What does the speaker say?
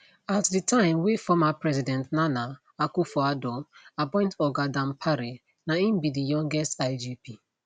at di time wey former president nana akufoaddo appoint oga dampare na im be di youngest igp